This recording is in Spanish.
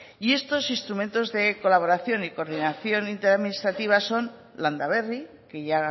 y estos instrumentos de colaboración y coordinación inter administrativa son landa berri que ya